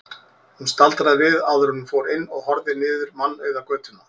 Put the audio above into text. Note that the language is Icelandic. Hún staldraði við áður en hún fór inn og horfði niður mannauða götuna.